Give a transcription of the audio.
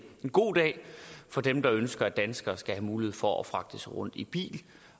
god dag for dem der ønsker at danskere skal have mulighed for at fragte sig rundt i bil